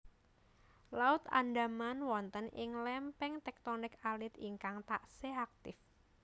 Laut Andaman wonten ing lémpéng téktonik alit ingkang taksih aktif